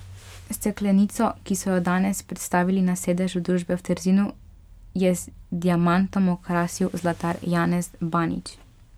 Steklenico, ki so jo danes predstavili na sedežu družbe v Trzinu, je z diamantom okrasil zlatar Janez Banič.